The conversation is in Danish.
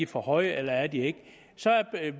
for høje eller er de ikke så